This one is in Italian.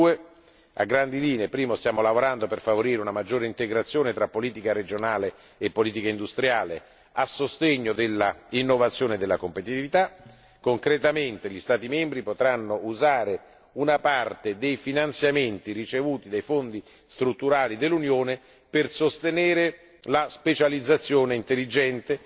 22. A grandi linee in primo luogo, stiamo lavorando per favorire una maggiore integrazione tra politica regionale e politica industriale a sostegno dell'innovazione della competitività concretamente gli Stati membri potranno usare una parte dei finanziamenti ricevuti dai Fondi strutturali dell'Unione per sostenere la specializzazione intelligente